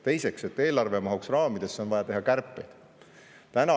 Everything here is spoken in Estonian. Teiseks, et eelarve mahuks raamidesse, on vaja teha kärpeid.